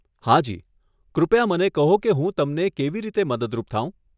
હા જી, કૃપયા મને કહો કે હું તમને કેવી રીતે મદદરૂપ થાઉં?